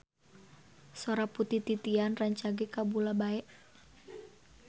Sora Putri Titian rancage kabula-bale